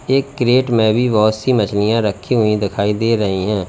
एक क्रेट में भी बहोत सी मछलियां रखी हुई दिखाई दे रही हैं।